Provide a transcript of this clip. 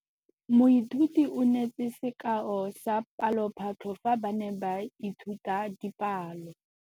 Moithuti o neetse sekaô sa palophatlo fa ba ne ba ithuta dipalo.